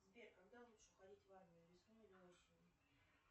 сбер когда лучше уходить в армию весной или осенью